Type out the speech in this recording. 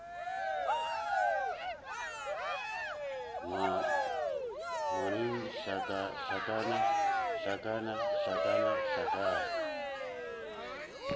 ngwang hlakana hlakana hlakana hlakana